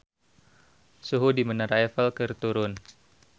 Suhu di Menara Eiffel keur turun